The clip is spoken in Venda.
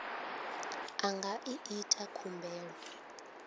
a nga ḓi ita khumbelo